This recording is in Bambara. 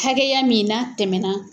Hakɛya min n'a tɛmɛna.